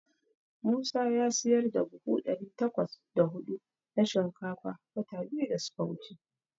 Musa ya siyar da buhu ɗari takwas da huɗu na shinkafa wata biyu da suka wuce.